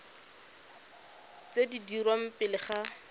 tse di dirwang pele ga